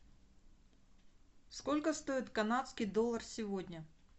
сколько стоит канадский доллар сегодня